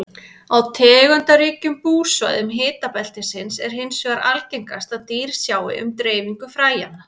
Á tegundaríkum búsvæðum hitabeltisins er hins vegar algengast að dýr sjái um dreifingu fræjanna.